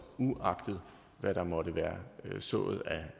uagtet hvad der måtte være sået